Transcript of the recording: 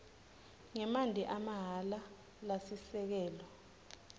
ngemanti amahhala lasisekelo